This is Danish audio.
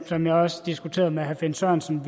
som jeg også diskuterede med herre finn sørensen